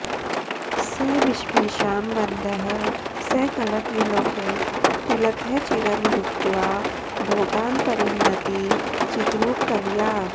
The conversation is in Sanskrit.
स विश्वेषां वन्द्यः सकलकविलोकैकतिलकः चिरं भुक्त्वा भोगान्परिणमति चिद्रूपकलया